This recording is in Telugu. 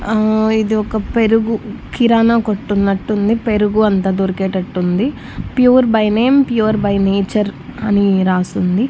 ఆ ఇది ఒక పెరుగు కిరానా కొట్టున్నట్టుంది పెరుగు అంత దొరికేటట్టుంది pure by name pure by nature అని రాసుంది.